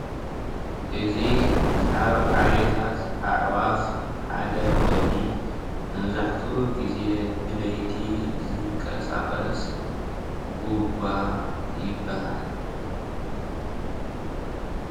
እዚ ካብ ዓሌታት ኣዕዋፍ ሓደ ኮይኑ መብዛሕትኡ ግዜ ብለይቲ ዝንቀሳቀስ ጉጓ ይባሃል፡፡